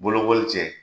Bolokoli cɛ